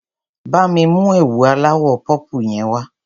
Bá mi mú ẹ̀wù aláwọ̀ pọ́pù yẹn wá.